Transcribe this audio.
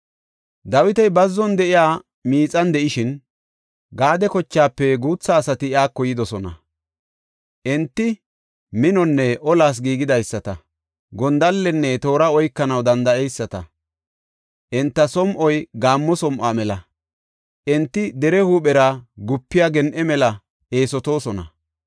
Dawiti bazzon de7iya miixan de7ishin, Gaade kochaafe guutha asati iyako yidosona. Enti minonne olas giigidaysata; gondallenne toora oykanaw danda7eyisata. Enta som7oy gaammo som7o mela; enti dere huuphera gupiya gen7e mela eesotoosona.